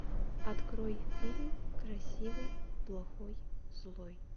открой фильм красивый плохой злой